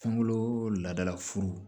Kungolo laadalafuru